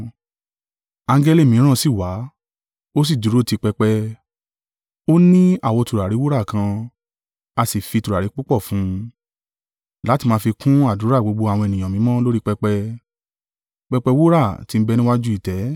Angẹli mìíràn sì wá, ó sì dúró ti pẹpẹ, ó ní àwo tùràrí wúrà kan a sì fi tùràrí púpọ̀ fún un, láti máa fi kún àdúrà gbogbo àwọn ènìyàn mímọ́ lórí pẹpẹ, pẹpẹ wúrà tí ń bẹ níwájú ìtẹ́.